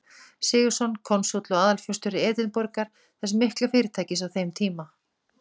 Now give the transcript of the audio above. Sigurðsson, konsúll og aðalforstjóri Edinborgar, þess mikla fyrirtækis á þeim tíma.